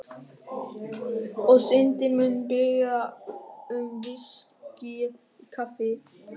Og Syndin mun biðja um VISKÍ í kaffið.